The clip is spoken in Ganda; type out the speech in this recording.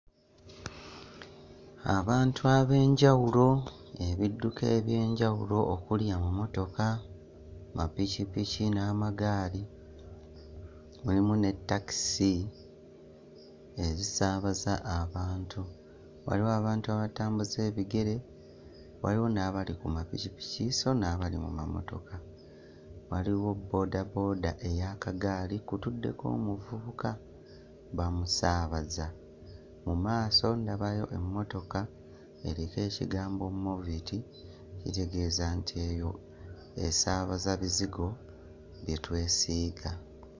Abantu ab'enjawulo, ebidduka eby'enjawulo okuli emmotoka, mapikipiki n'amagaali mulimu ne takisi ezisaabaza abantu. Waliwo abantu abatambuza ebigere waliwo n'abali ku mapikipiki sso n'abali mu mamotoka waliwo boodabooba ey'akagaali kutuddeko omuvubuka bamusaabaza mu maaso ndabayo emmotoka eriko ekigambo Movit, kitegeeza nti eno esaabaza bizigo bye twesiiga.